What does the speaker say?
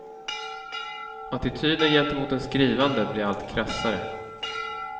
Attityden gentemot den skrivande blir allt krassare.